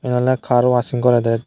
yea ole car waching gorede.